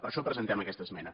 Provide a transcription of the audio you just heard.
per això presentem aquesta esmena